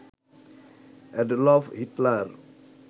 Adolf Hitler